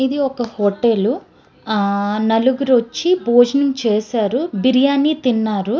ఇది ఒక్క హోటల్ నలుగురు వచ్చి భోజనం చేశారు బిర్యాని తిన్నారు.